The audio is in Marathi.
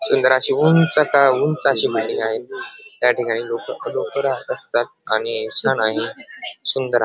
सुंदर अशी उंचच्या उंच अशी बिल्डिंग आहे त्याठिकाणी लोक लोक राहत असतात आणि छान आहे सुंदर आहे.